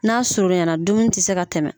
N'a surunya na dumuni tɛ se ka tɛmɛ.